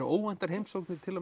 óvæntar heimsóknir til